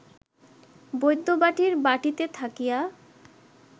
বৈদ্যবাটীর বাটীতে থাকিয়া